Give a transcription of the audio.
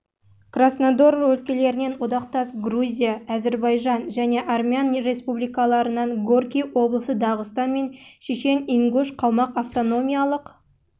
краснодар өлкелерінен одақтас грузия әзірбайжан және армян республикаларынан горький облысы дағыстан мен шешен-ингуш қалмақ автономиялық